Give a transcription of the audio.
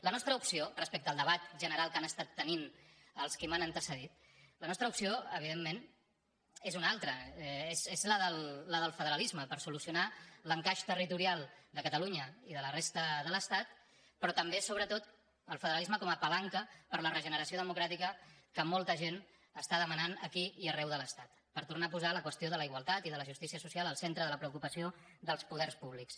la nostra opció respecte al debat general que han estat tenint els qui m’han antecedit la nostra opció evidentment és una altra és la del federalisme per solucionar l’encaix territorial de catalunya i de la resta de l’estat però també sobretot el federalisme com a palanca per a la regeneració democràtica que molta gent està demanant aquí i arreu de l’estat per tornar a posar la qüestió de la igualtat i de la justícia social al centre de la preocupació dels poders públics